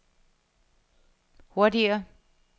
hurtigere